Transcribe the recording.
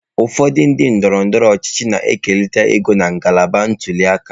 Ụfọdụ ndị ndọrọ ndọrọ ọchịchị na-ekerịta ego na ngalaba ntuli aka.